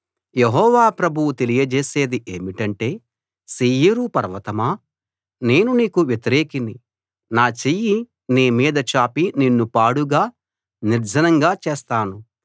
యెహోవా ప్రభువు తెలియజేసేది ఏమిటంటే శేయీరు పర్వతమా నేను నీకు వ్యతిరేకిని నా చెయ్యి నీ మీద చాపి నిన్ను పాడుగా నిర్జనంగా చేస్తాను